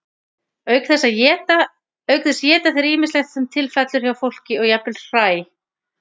auk þess éta þeir ýmislegt sem til fellur hjá fólki og jafnvel hræ